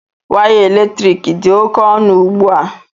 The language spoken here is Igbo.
Waya eletrik dị oke ọnụ ugbu a